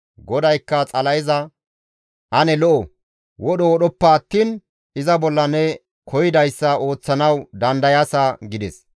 GODAYKKA Xala7eza, «Ane lo7o; wodho wodhoppa attiin iza bolla ne koyidayssa ooththanaas dandayaasa» gides.